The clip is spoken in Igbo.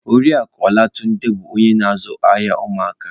Oriakụ Olatunde bụ onye na-azụ ahịa ụmụaka